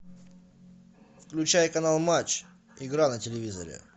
включай канал матч игра на телевизоре